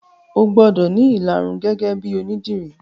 O gbọ́dọ̀ ní ìlarun gẹ́gẹ́ bíi onídìrí